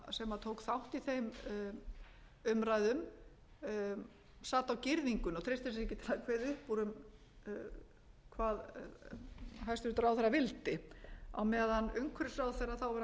sem tók þátt í þeim umræðum sat á girðingunni og treysti sér ekki til að kveða upp úr um hvað hæstvirtur ráðherra vildi á meðan umhverfisráðherra þáv hæstvirtur þórunn sveinbjarnardóttir talaði